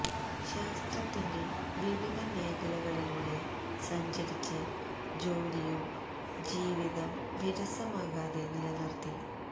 ശാസ്ത്രത്തിന്റെ വിവിധ മേഘലകളിലൂടെ സഞ്ചരിച്ച് ജോലിയും ജീവിതം വിരസമാകാതെ നില നിര്ത്തി